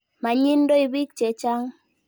Mayindoi piik che chang'.